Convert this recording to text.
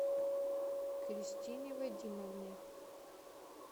кристине вадимовне